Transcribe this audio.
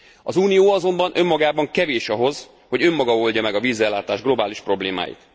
Az Unió azonban önmagában kevés ahhoz, hogy önmaga oldja meg a vízellátás globális problémáit.